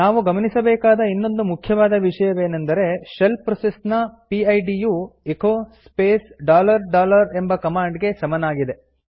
ನಾವು ಗಮನಿಸಬೇಕಾದ ಇನ್ನೊಂದು ಮುಖ್ಯವಾದ ವಿಷಯವೇನೆಂದರೆ ಶೆಲ್ ಪ್ರೋಸೆಸ್ ನ ಪಿಡ್ ಯು ಎಚೊ ಸ್ಪೇಸ್ ಡಾಲರ್ ಡಾಲರ್ ಎಂಬ ಕಮಾಂಡ್ ಗೆ ಸಮನಾಗಿದೆ